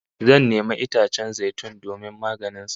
Zan nemi itacen zai tun domin maganin sa